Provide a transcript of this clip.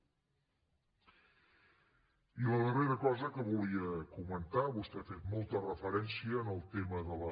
i la darrera cosa que volia comentar vostè ha fet molta referència al tema de la